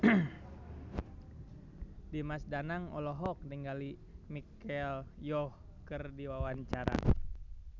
Dimas Danang olohok ningali Michelle Yeoh keur diwawancara